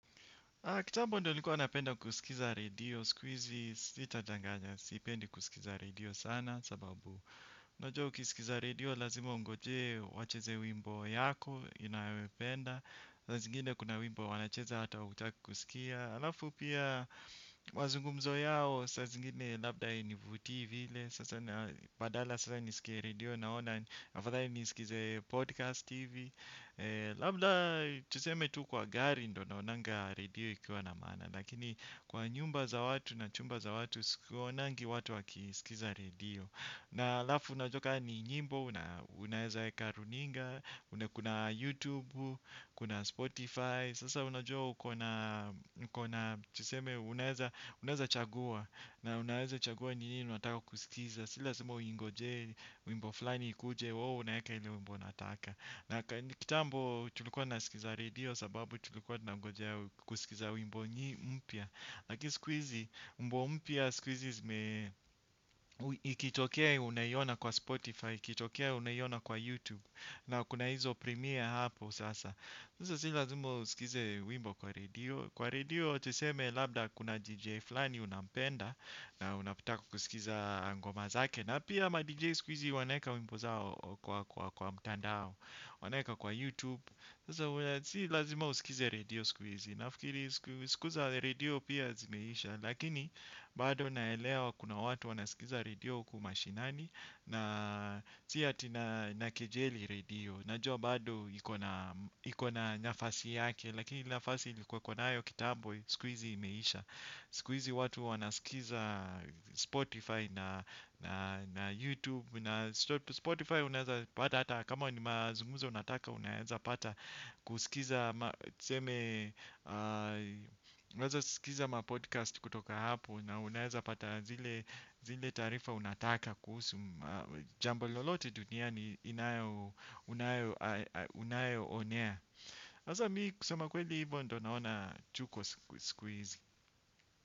Kitambo ndo nilikuwa napenda kusia redio. Siku hizi sitadanganya sipendi kuskiza redio sana sababu unajua ukiskiza redio lazima ungojee wacheze wimbo yako inayopenda saa zingine kuna wimbo wanacheza hata hutaki kuskia alafu pia mazungumzo yao saa zingine labda hainivutii vile sasa na badala sasa niskie redio naona afadhali niskize podcast hivi labda tuseme tu kwa gari ndo naonanga redio ikiwa na maana lakini kwa nyumba za watu na chumba za watu, siwaonangi watu wakiskiza redio. Na alafu unajua ka ni nyimbo na unaeza weka runinga, kuna Youtube, kuna Spotify, sasa unajua ukona ukona tuseme unaeza unaeza chagua na unaeza chagua ni nini unataka kuskiza sio lazaima uingojee uimbo fulani kuje wawo unayeka ile uimbo nataka na kitambo tulikuwa nasikiza radio sababu tulikuwa nangoja kusikiza wimbo nyi umpya lakini skuizi umbo umpya skuizi zime ikitokea unaiona kwa spotify ikitokea unaiona kwa youtube na kuna hizo premiere hapo sasa sasa si lazima usikize wimbo kwa radio kwa radio tuseme labda kuna dj flani unampenda na unapitako kusikiza ngoma zake na pia ama dj skuizi wanaeka wimbo zao kwa mtandao wanaeka kwa youtube. Sasa si lazima usikize radio sikuizi. Nafikiri siku za radio pia zimeisha. Lakini bado naelewa kuna watu wanasikiza radio uko mashinani. Na si ati nakejeli radio. Najua bado ikona nyafasi yake. Lakini nyafasi likuwekona ayo kitambo sikuizi imeisha. Sikuizi watu wanasikiza Spotify na YouTube na Spotify unaeza pata hata kama wani mazumuza unataka unaeza pata kusikiza tseme unaeza sikiza mapodcast kutoka hapo na unaeza pata zile taarifa unataka kuhusu jambo lolote dunia ni inayo unayo onea haza mi kusema kweli hivyo ndo naona tuko sikuizi.